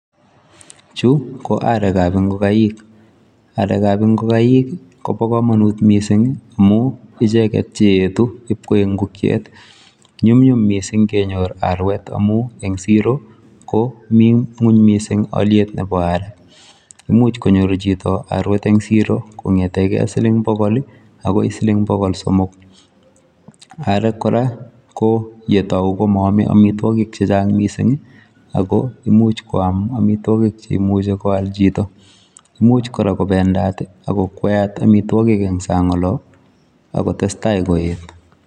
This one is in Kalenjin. Chu ko aarek ab ingokaik, aarek ab ingogaaik I koboo komonut missing amun icheget cheyeetu koik ingokyeet. Nyumnyum missing kenyoor arwet amun en siro KO mi ngwony missing alyeetab aarek. Imuch konyor chito arwet en siro kongeten gee siling bogol i akoi silingisiek bogol somok. Arwek kora yon kitou komoame amitwogiik chechang missing ako much koam amitwogiik cheimuche koal chito. Imuch kora kobedat ak kokwayat amitwogiik en sang olon akotestai koyeet